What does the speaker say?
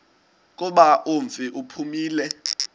kuba umfi uphumile